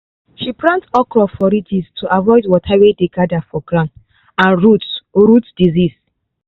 she plant okra for ridges to avoid water wey dey gather for ground and root root sickness.